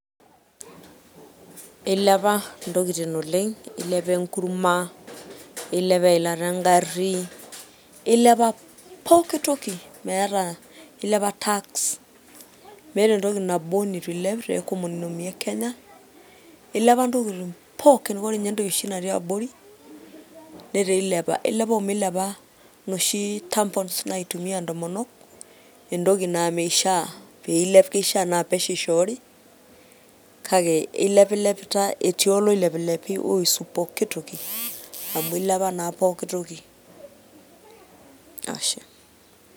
Ilepa ntokitin oleng, ilepa enkurma , ilepa eilata engari, ilepa pooki toki meeta ilepa tax meeta entoki nabo nitu ilep te economy ekenya, ilepa ntokitin pookin. Ore ninye entoki oshi natii abori netaa ilepa, ilepa omeilepa inoshi tampoon naitumia ntomonok entoki naa mishaa peilep, kishaa naa pesho ishoori, kake ilepiepitae otii oloilepilepi oihusu pooki toki amu ilepa naa poki toki , ashe.